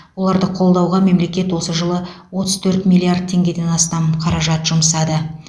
оларды қолдауға мемлекет осы жылы отыз төрт миллиард теңгеден астам қаражат жұмсады